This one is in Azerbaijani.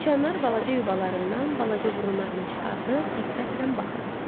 Siçanlar balaca yuvalarından, balaca burunlarını çıxardıb diqqətlə baxırdılar.